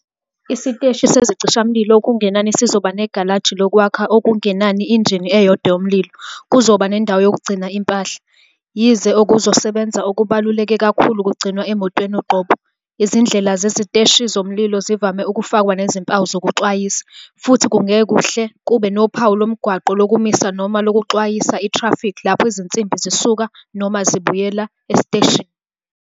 Isiteshi sezicishamlilo okungenani sizoba negalaji lokwakha okungenani injini eyodwa yomlilo. Kuzoba nendawo yokugcina impahla, yize okokusebenza okubaluleke kakhulu kugcinwa emotweni uqobo. Izindlela zesiteshi somlilo zivame ukufakwa nezimpawu zokuxwayisa, futhi kungahle kube nophawu lomgwaqo lokumisa noma lokuxwayisa ithrafikhi lapho izinsimbi zisuka noma zibuyela esiteshini.